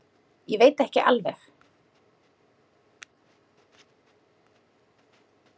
Ég veit ekki alveg.